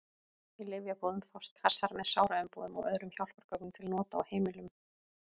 Í lyfjabúðum fást kassar með sáraumbúðum og öðrum hjálpargögnum til nota á heimilum.